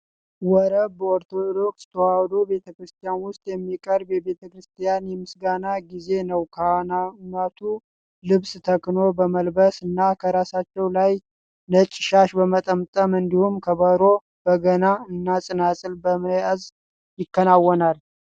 ወረብ በኦርቶዶክስ ተዋህዶ ቤተክርስቲያን ውስጥ የሚቀርብ የቤተክርስቲያን የምስጋና ጊዜ ነው። ካህናቱ ልብሰ ተክህኖ በመልበስ እና ከራሳቸው ላይ ነጭ ሻሽ በመጠምጠም እንዲሁም ከበሮ፣ በገና እና ፅናፅል በመያዝ ይከወናል።